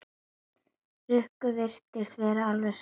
Rikku virtist vera alveg sama um það.